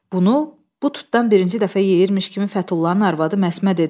Bunu bu tutdan birinci dəfə yeyirmiş kimi Fətullahın arvadı Məsmə dedi: